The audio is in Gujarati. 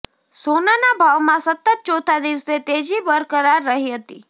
સોનાના ભાવમાં સતત ચોથા દિવસે તેજી બરકરાર રહી હતી